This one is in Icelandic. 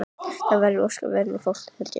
Við erum ósköp venjulegt fólk held ég.